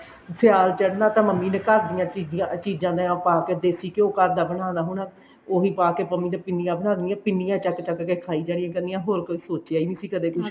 ਸਿਆਲ ਚੜਨਾ ਤਾਂ ਮੰਮੀ ਨੇ ਘਰ ਦੀਆਂ ਚੀਜਾਂ ਤੇ ਉਹ ਪਾਕੇ ਦੇਸੀ ਘਿਉ ਘਰ ਦਾ ਬਨਾਨਾ ਹੁਣ ਉਹੀ ਪਾਕੇ ਮੰਮੀ ਨੇ ਪਿੰਨੀਆ ਬਣਾ ਦੇਣੀਆ ਪਿੰਨੀਆ ਚੱਕ ਚੱਕ ਕੇ ਖਾਈ ਜਾਣਿਆ ਕਰਨੀਆ ਹੋਰ ਕੋਈ ਸੋਚਿਆ ਨਹੀਂ ਸੀ ਕਦੇ ਕੁੱਛ ਵੀ